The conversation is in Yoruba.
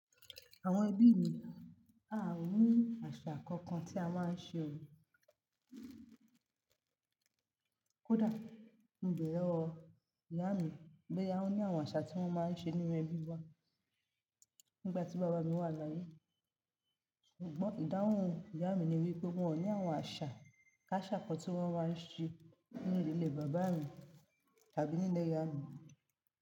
Àwọn ẹbí mi, a ò ní àṣà kankan tí a máa ń ṣe ò kodà. Mo bẹ̀rẹ̀ lowọ, ìyá mi boyàwóní àwọn àṣà tí wọ́n máa ń ṣe nínú ẹbí wa nígbà tí bàbá mi wà láyé. Ṣùgbọ́n ìdáhùn ìyá mi ni wípé wọn ò ní àwọn àṣà ká ṣàkọ tí wọ́n máa ń ṣe nílé bàbá mi tàbí nílé ìyá mi.